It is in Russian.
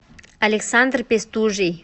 александр пестужий